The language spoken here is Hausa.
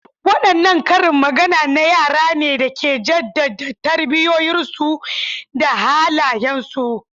Wadanne karin magana na yara ne da ke jaddada tarbiyyarsu da halayensu?